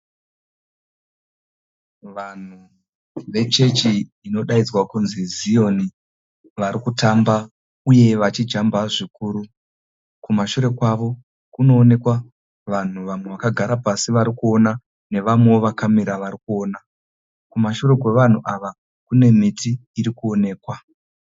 Vanhu vechechi inodaidzwa kunzi Zion varikutamba uye vachijamba zvikuru. Kumashure kwavo kunoonekwa vanhu vamwe vakagara pasi varikuona nevamwewo vakamira varikuona. Kumashure kwevanhu ava kune miti irikuonekwa.